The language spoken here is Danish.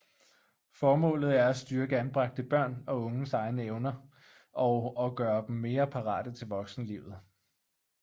Formålet er at styrke anbragte børn og unges egne evner og og gøre dem mere parate til voksenlivet